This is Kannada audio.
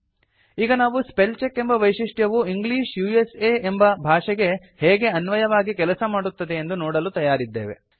ಈಗ ನಾವು ಸ್ಪೆಲ್ ಚೆಕ್ ಎಂಬ ವೈಶಿಷ್ಟ್ಯವು ಇಂಗ್ಲಿಷ್ ಉಸಾ ಎಂಬ ಭಾಷೆಗೆ ಹೇಗೆ ಅನ್ವಯವಾಗಿ ಕೆಲಸ ಮಾಡುತ್ತದೆಯೆಂದು ನೋಡಲು ತಯಾರಿದ್ದೇವೆ